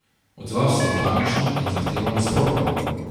Odzval se je panično in zahteval nasprotno.